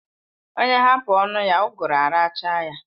Onye hapu onu ya uguru arachaa ya